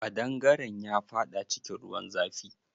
Ƙadangaren ya faɗa cikin ruwan zafi.